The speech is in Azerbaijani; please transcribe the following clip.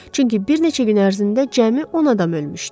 Çünki bir neçə gün ərzində cəmi 10 adam ölmüşdü.